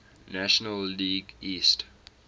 national league east